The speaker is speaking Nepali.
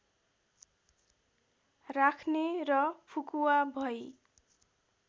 राख्ने र फुकुवा भई